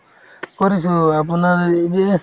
কৰিছো আপোনাৰ এই যে